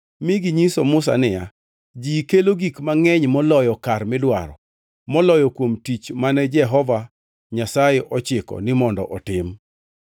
mi ginyiso Musa niya, “Ji kelo gik mangʼeny moloyo kar midwaro moloyo kuom tich mane Jehova Nyasaye ochiko ni mondo otim.”